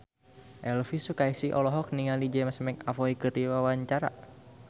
Elvy Sukaesih olohok ningali James McAvoy keur diwawancara